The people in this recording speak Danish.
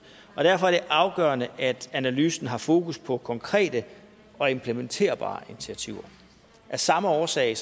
derfor er det afgørende at analysen har fokus på konkrete og implementerbare initiativer af samme årsag